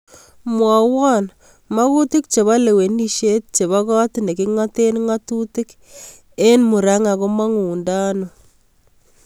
Mwawan mang'utik chebo lewenishet chebo kot neging'aten nga'tutik en muranga komang'undano